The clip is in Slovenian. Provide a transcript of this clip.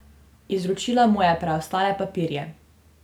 Izročila mu je preostale papirje.